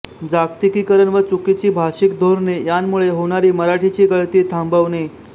जागतिकीकरण व चुकीची भाषिक धोरणे यांमुळे होणारी मराठीची गळती थांबवणे